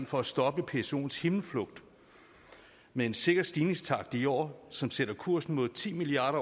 for at stoppe psoens himmelflugt med en sikker stigningstakt i år som sætter kursen mod ti milliard